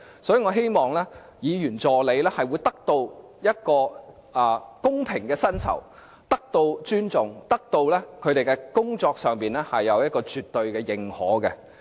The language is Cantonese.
我也希望議員助理能夠得到公平的薪酬，並且得到尊重，在工作上得到絕對認可。